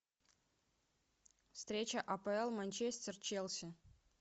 встреча апл манчестер челси